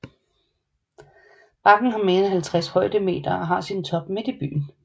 Bakken har mere end 50 højdemeter og har sin top midt i byen